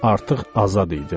Artıq azad idim.